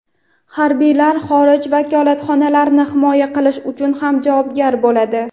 harbiylar xorij vakolatxonalarini himoya qilish uchun ham javobgar bo‘ladi.